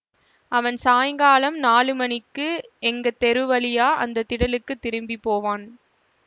அவன் சாயங்காலம் நாலு மணிக்கு எங்க தெரு வழியா அந்த திடலுக்கு திரும்பி போவான்